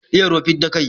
Iya ruwa, fidda kai.